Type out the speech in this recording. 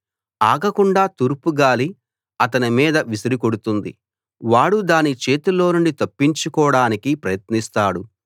ఆగకుండా తూర్పు గాలి అతని మీద విసిరి కొడుతుంది వాడు దాని చేతిలోనుండి తప్పించుకోడానికి ప్రయత్నిస్తాడు